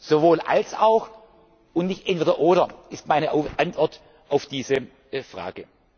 Sowohl als auch und nicht Entweder oder ist meine Antwort auf diese